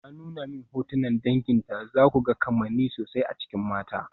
Ta nuna min hotunan danginta, zaku ga kamanni sosai a cikin mata.